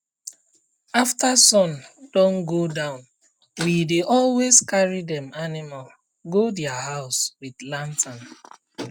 after sun don um go downwe um dey always carry dem animal go dia house um with lantern